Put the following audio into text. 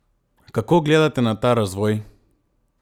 Kako gledate na ta razvoj?